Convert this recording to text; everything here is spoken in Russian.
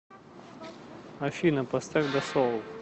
афина поставь дасоул